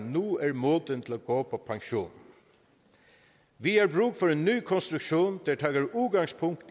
nu er moden til at gå på pension vi har brug for en ny konstruktion der tager udgangspunkt